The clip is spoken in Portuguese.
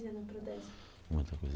fazer na Prodesp? Muita coisa.